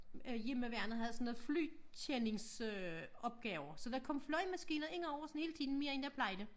Øh hjemmeværnet havde sådan noget flykendings øh opgaver så der kom flyvemaskiner indover sådan hele tiden mere end der plejede